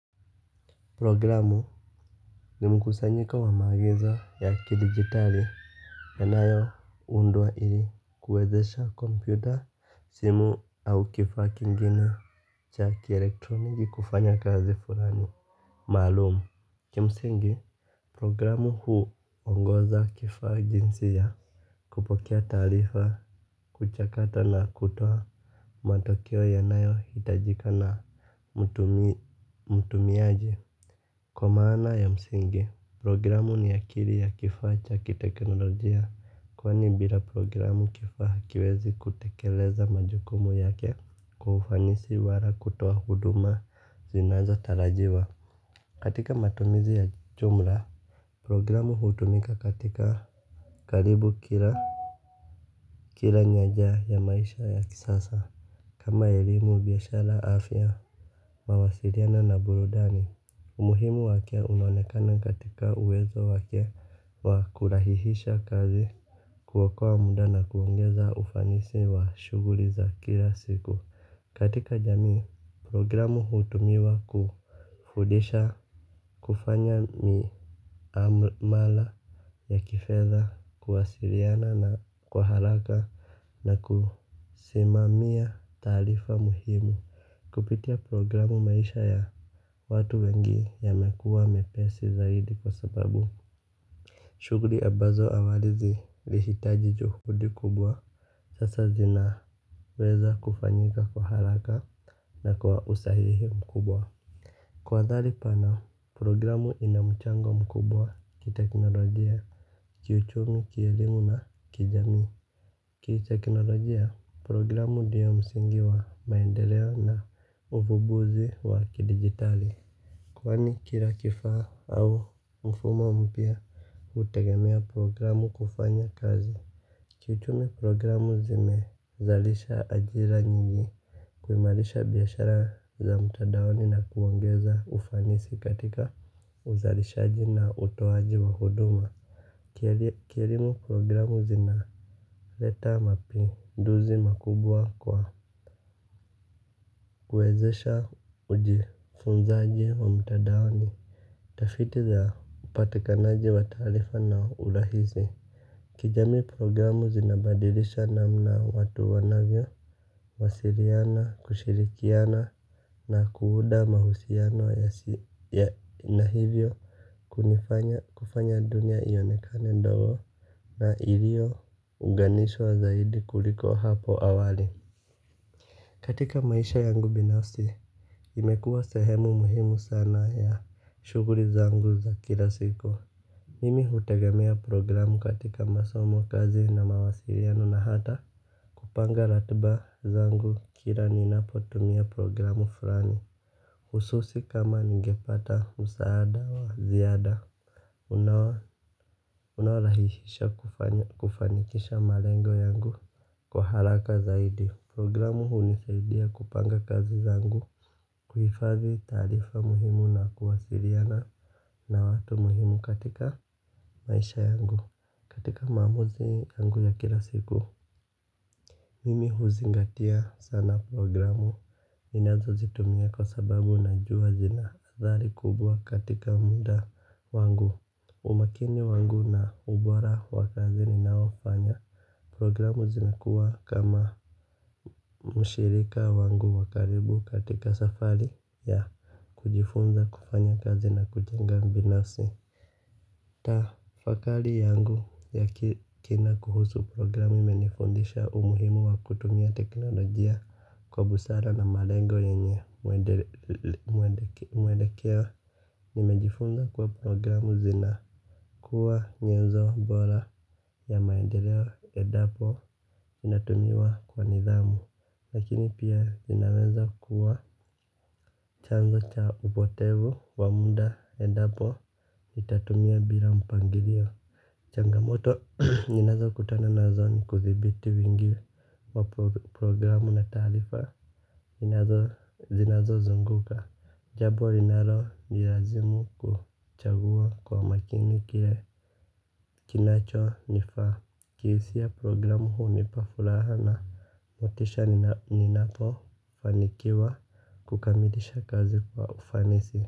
Programu ni mkusanyiko wa maagizo ya kidigitali yanayo undwa ili kuwezesha kompyuta simu au kifaa kingine cha kielektroni kufanya kazi fulani Maalum. Kimsingi programu hu ongoza kifaa jinsi ya kupokea taarifa kuchakata na kutoa matokeo yanayo hitajika na Mtumiaji. Kwa maana ya msingi programu ni akili ya kifaa cha kiteknolojia kwani bila programu kifaa hakiwezi kutekeleza majukumu yake kwa ufanisi wala kutoa huduma zinazo tarajiwa. Katika matumizi ya jumla programu hutumika katika karibu kila kila nyanja ya maisha ya kisasa. Kama elimu biashara afya mawasiliano na burudani. Umuhimu wake unaonekana katika uwezo wake wa kurahihisha kazi kuokoa muda na kuongeza ufanisi wa shughuli za kila siku. Katika jamii programu hutumiwa kufundisha kufanya miamala ya kifedha kuwasiliana na kwa haraka na kusimamia taarifa muhimu. Kupitia programu maisha ya watu wengi yamekuwa mepesi zaidi kwa sababu shughuli abazo awali zilihitaji juhudi kubwa sasa zina weza kufanyika kwa haraka na kwa usahihi mkubwa. Kwa athari pana programu ina mchango mkubwa kiteknolojia kiuchumi kielimu na kijamii ki teknolojia, programu ndiyo msingi wa maendeleo na uvumbuzi wa kidigitali kwani kila kifaa au mfumo mpya hutegemea programu kufanya kazi kiuchumi programu zimezalisha ajira nyingi kuimarisha biashara za mtandaoni na kuongeza ufanisi katika uzalishaji na utoaji wa huduma. Kielimu programu zinaleta mapinduzi makubwa kwa kuwezesha ujifunzaji wa mtandaoni tafiti za upatikanaji wa taarifa na urahisi. Kijamii programu zinabadilisha namna watu wanavyo wasiliana, kushirikiana na kuunda mahusiano na hivyo kunifanya kufanya dunia ionekane ndogo na iliyo uganishwa zaidi kuliko hapo awali. Katika maisha yangu binafsi imekuwa sehemu muhimu sana ya shughuli zangu za kila siku. Mimi hutegemea programu katika masomo kazi na mawasiliano na hata kupanga ratiba zangu kila ninapotumia programu fulani hususi kama nigepata msaada wa ziada unaorahihisha kufanikisha malengo yangu. Kwa haraka zaidi programu hunisaidia kupanga kazi zangu kuhifadhi taarifa muhimu na kuwasiliana na watu muhimu katika maisha yangu. Katika maamuzi yangu ya kila siku. Mimi huzingatia sana programu ninazo zitumia kwa sababu najua zina athari kubwa katika muda wangu umakini wangu na ubora wa kazi ninayofanya. Programu zinakuwa kama mshirika wangu wa karibu katika safari ya kujifunza kufanya kazi na kujenga binafsi. Tafakari yangu ya kina kuhusu programu imenifundisha umuhimu wa kutumia teknolojia kwa busara na malengo yenye mwelekeo. Nimejifunza kuwa programu zina kuwa nyenzo bora ya maendeleo endapo inatumiwa kwa nidhamu lakini pia zinaweza kuwa chanzo cha upotevu wa muda endapo itatumia bila mpangilio. Changamoto ninazo kutana nazo ni kudhibiti wingi wa programu na taarifa zinazozunguka. Jambo linalo nilazimu kuchagua kwa makini kile kinacho nifaa. Kihisia programu hunipa furaha na motisha ninapo fanikiwa kukamilisha kazi kwa ufanisi.